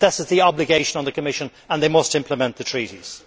This is the obligation on the Commission and it must implement the treaties.